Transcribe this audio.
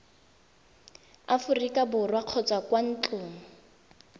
aforika borwa kgotsa kwa ntlong